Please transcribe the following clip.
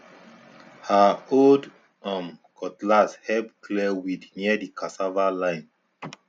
her old um cutlass help clear weed near the cassava line